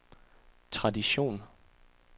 tradition